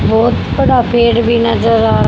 बहुत बड़ा पेड़ भी नजर आ--